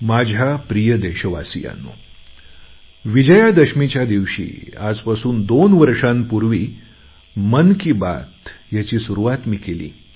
माझ्या प्रिय देशवासियांनोविजयादशमीच्या दिवशी आजपासून दोन वर्षांपूर्वी मन की बात याची मी सुरुवात केली